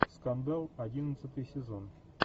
скандал одиннадцатый сезон